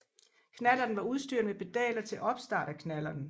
Knallerten var udstyret med pedaler til opstart af knallerten